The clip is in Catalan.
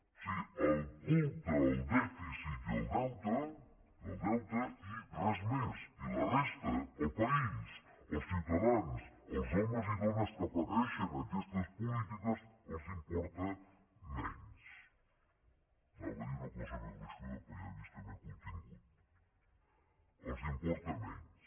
o sigui el culte al dèficit i al deute i al deute i res més i la resta el país els ciutadans els homes i dones que pateixen aquestes polítiques els importa menys anava a dir una cosa més gruixuda però ja han vist que m’he contingut els importa menys